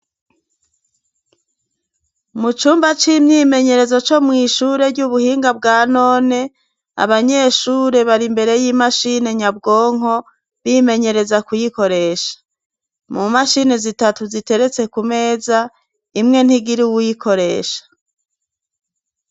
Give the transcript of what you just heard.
Mu cumba c'imyimenyerezo co mw'ishure ry'ubuhinga bwa none, abanyeshure bari imbere y'imashini nyabwonko, bimenyereza kuyikoresha. Mu mashini zitatu ziteretse ku meza, imwe ntigira uwuyikoresha.